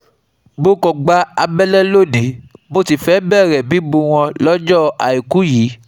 Mo kan gba àbẹ̀lẹ̀ lóní, mo sì fẹ́ẹ̀ bẹ̀rẹ̀ mímú wọn lọ́jọ́ Àìkú yìí